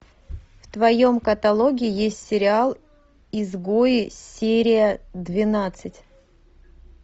в твоем каталоге есть сериал изгои серия двенадцать